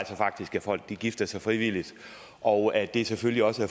faktisk folk gifter sig frivilligt og det er selvfølgelig også